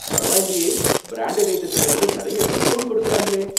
பரவாயில்லயே! பிராண்ட்டட் ஐட்டத்துல கூட நறைய டிஸ்கௌண்ட் கொடுக்கறாங்களே!